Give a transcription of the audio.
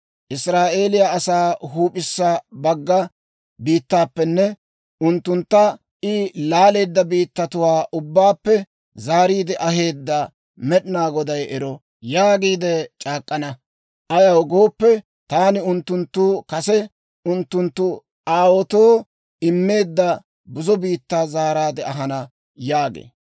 ‹Israa'eeliyaa asaa huup'issa bagga biittaappenne unttuntta I laaleedda biittatuwaa ubbaappe zaariide aheedda Med'inaa Goday ero› yaagiide c'aak'k'ana. Ayaw gooppe, taani unttunttu kase unttunttu aawaatoo immeedda buzo biittaa zaaraadde ahana» yaagee.